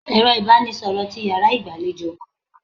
Ẹ̀rọ ibanisoro ti Ìyàrá igbalejo nko?